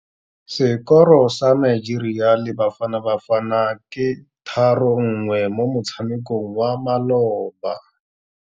Sekôrô sa Nigeria le Bafanabafana ke 3-1 mo motshamekong wa malôba.